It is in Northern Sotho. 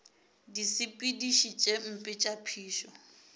disepediši tše mpe tša phišo